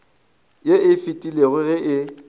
ye e fetilego ge e